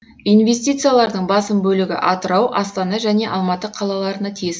инвестициялардың басым бөлігі атырау астана және алматы қалаларына тиесілі